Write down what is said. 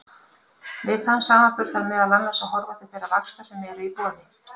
Við þann samanburð þarf meðal annars að horfa til þeirra vaxta sem eru í boði.